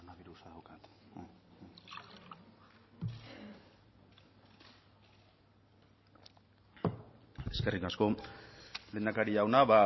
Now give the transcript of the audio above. eskerrik asko lehendakari jauna